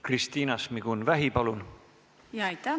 Kristina Šmigun-Vähi, palun!